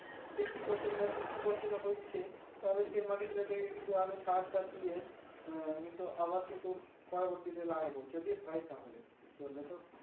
Fifty percent বা sixty percent হচ্ছে তাহলে সার টার দিয়ে উম কিন্তু আবার কিন্তু পরবতীতে লাগাইবো যদি হয় তাহলে বুজতে পারলে তো